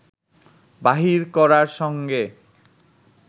বাহির করার সঙ্গে